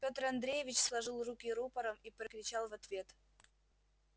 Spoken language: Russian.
пётр андреевич сложил руки рупором и прокричал в ответ